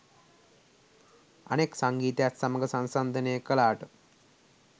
අනෙක් සංගීතයත් සමග සංසන්දනය කළාට